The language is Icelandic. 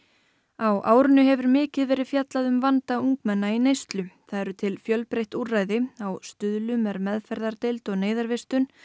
á árinu hefur mikið verið fjallað um vanda ungmenna í neyslu það eru til fjölbreytt úrræði á Stuðlum er meðferðardeild og neyðarvistun